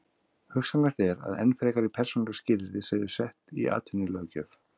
Hugsanlegt er að enn frekari persónuleg skilyrði séu sett í atvinnulöggjöf.